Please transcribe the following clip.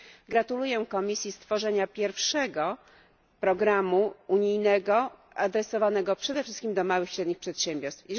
Gratuluję Komisji stworzenia pierwszego programu unijnego adresowanego przede wszystkim do małych i średnich przedsiębiorstw.